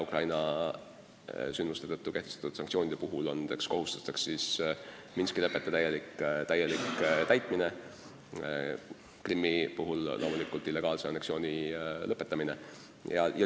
Ukraina sündmuste tõttu kehtestatud sanktsioonide puhul on need kohustused Minski lepete täielik täitmine ja loomulikult Krimmi illegaalse anneksiooni lõpetamine.